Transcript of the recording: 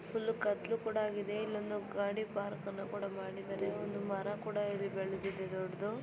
Full ಕತ್ತಲು ಕೂಡ ಆಗಿದೆ ಇಲ್ಲೊಂದು ಗಾಡಿ ಪಾರ್ಕ್ ಅನ್ನ ಕೂಡ ಮಾಡಿದರೆ ಒಂದು ಮರ ಕೂಡ ಇದೆ ಬೆಳೆದಿದೆ ದೊಡ್ಡದು.